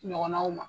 Ɲɔgɔnnaw ma